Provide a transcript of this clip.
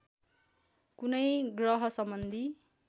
कुनै ग्रह सम्बन्धी